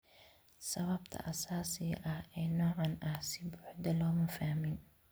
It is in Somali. Sababta asaasiga ah ee noocaan ah si buuxda looma fahmin.